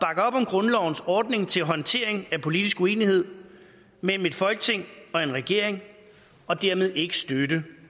om grundlovens ordning til håndtering af politisk uenighed mellem et folketing og en regering og dermed ikke støtte